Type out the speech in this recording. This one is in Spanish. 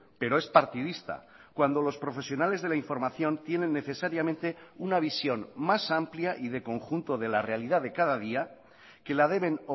pero es partidista cuando los profesionales de la información tienen necesariamente una visión más amplia y de conjunto de la realidad de cada día que la deben